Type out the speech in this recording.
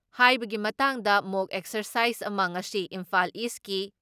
ꯍꯥꯏꯕꯒꯤ ꯃꯇꯥꯡꯗ ꯃꯣꯛ ꯑꯦꯛꯁꯔꯁꯥꯏꯖ ꯑꯃ ꯉꯁꯤ ꯏꯝꯐꯥꯜ ꯏꯁꯀꯤ